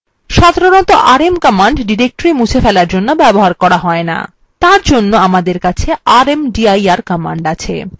সাধারণতঃ rm command directories মুছে ফেলার জন্য ব্যবহার করা হয় না তার জন্য আমাদের কাছে rmdir command আছে